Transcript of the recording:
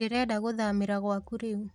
Ndĩrenda gũthamĩra gwaku rĩu